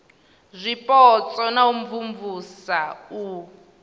zwipotso na u imvumvusa u